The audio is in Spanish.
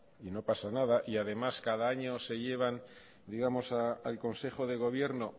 y no pasa nada y además cada año se llevan digamos al consejo de gobierno